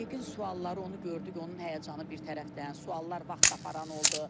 MİQ-in sualları onu gördük, onun həyəcanı bir tərəfdən, suallar vaxt aparan oldu.